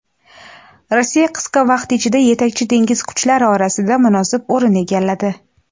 Rossiya qisqa vaqt ichida yetakchi dengiz kuchlari orasida munosib o‘rin egalladi.